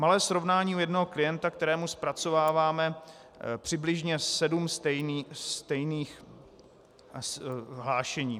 Malé srovnání u jednoho klienta, kterému zpracováváme přibližně sedm stejných hlášení.